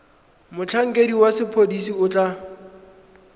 motlhankedi wa sepodisi o tla